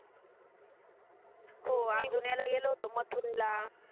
हो अजून याला गेलो होतो मथुरेला